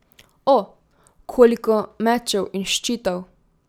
O, koliko mečev in ščitov.